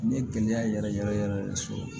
N ye gɛlɛya yɛrɛ yɛrɛ yɛrɛ yɛrɛ de sɔrɔ